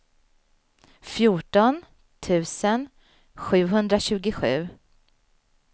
fjorton tusen sjuhundratjugosju